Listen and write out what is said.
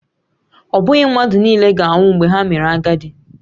Ọ bụghị mmadụ nile ga-anwụ mgbe ha mere agadi